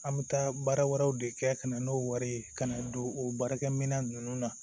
An bɛ taa baara wɛrɛw de kɛ ka na n'o wari ye ka na don o baarakɛminɛn ninnu na